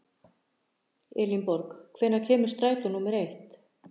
Elinborg, hvenær kemur strætó númer eitt?